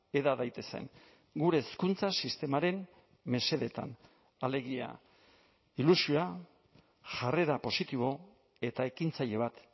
heda daitezen gure hezkuntza sistemaren mesedetan alegia ilusioa jarrera positibo eta ekintzaile bat